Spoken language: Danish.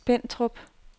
Spentrup